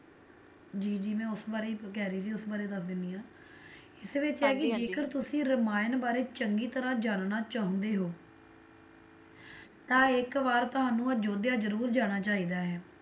ਜੀ ਜੀ ਮੈਂ ਉਸ ਬਾਰੇ ਹੀ ਕਹਿ ਰਹੀ ਸੀ ਉਹ ਬਾਰੇ ਹੀ ਦੱਸ ਦੇਣੀ ਆ ਇਸ ਵਿੱਚ ਹੈ ਕੀ ਜੇਕਰ ਤੁਸੀ ਰਮਾਇਣ ਬਾਰੇ ਚੰਗੀ ਤਰਾਂ ਜਾਨਣਾ ਚਾਹੁੰਦੇ ਹੋ ਤਾਂ ਇੱਕ ਵਾਰ ਤੁਹਾਨੂੰ ਅਯੋਧਿਆ ਜਰੂਰ ਜਾਣਾ ਚਾਹੀਦਾ ਹੈ,